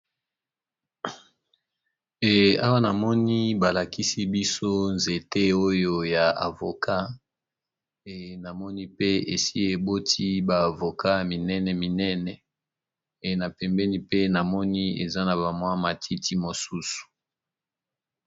Awa, namoni balakisi biso nzete oyo ya avoka. Na moni pe esi eboti ba avoka minene minene. Na pembeni pe, namoni eza na ba mwa matiti mosusu.